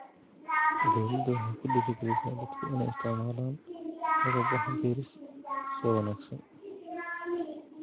Dawladdu waxay ku dhiirigelisaa dadka inay isticmaalaan agab wax-beeris oo wanaagsan.